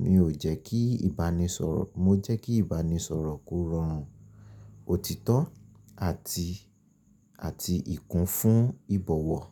Mi ò jẹ́ kí ìbánisọ̀rọ̀, mo jẹ́ kí ìbánisọ̀rọ̀ kó rọrùn, òtítọ́ àti, àti ìkún fún ìbọ̀wọ̀.